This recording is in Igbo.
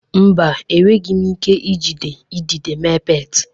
Mba, enweghị m ike iji ịdegịde mee pet